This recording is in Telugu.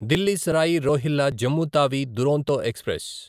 ఢిల్లీ సరాయి రోహిల్ల జమ్ము తావి దురంతో ఎక్స్ప్రెస్